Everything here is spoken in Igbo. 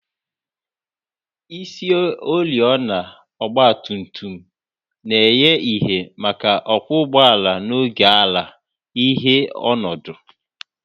Isioriọna ọgba tum tum na-enye ìhè maka ọkwọ ụgbọala n'oge ala-ìhè ọnọdụ